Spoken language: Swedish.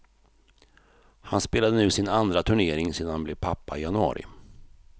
Han spelade nu sin andra turnering sedan han blev pappa i januari.